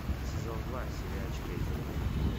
сезон два сериальчика изумрудный город